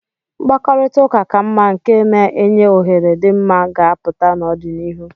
Mkpakọrịta ka mma nke na-enye ohere dị mma ga-apụta n'ọdịnihu.